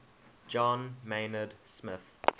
john maynard smith